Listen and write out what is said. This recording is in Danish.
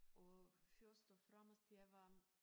Og først og fremmest jeg var